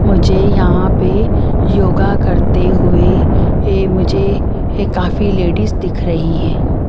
मुझे यहां पे योगा करते हुए मुझे काफी लेडीज दिख रही हैं।